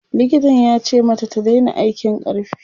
likitan yace mata ta Daina aikin ƙarfi